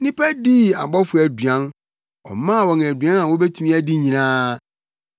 Nnipa dii abɔfo aduan; ɔmaa wɔn aduan a wobetumi adi nyinaa.